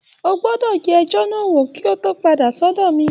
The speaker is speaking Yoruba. O gbọ́dọ̀ yẹ ẹjọ́ náà wò kó o tó padà sọ́dọ̀ mi